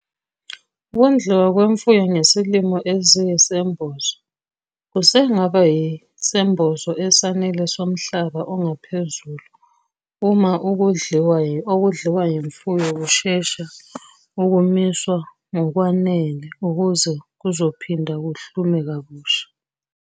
Ukondliwa kwemfuyo ngesilimo eziyisembozo, kusengaba yisembozo esanele somhlaba ongaphezulu uma ukudliwa yimfuyo kushesha ukumiswa ngokwanele ukuze kuzophinda kuhlume kabusha.